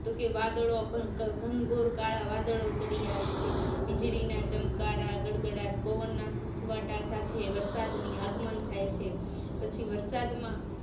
તોકે વાદળો ગ ગ ઘનઘોર કાળા વાદળો ચડી આવે છે વીજળી ના ચમકારા ગડગડાટ પવન ના સુસવાટા સાથે વરસાદ ની આગમન થાય છે પછી વરસાદ માં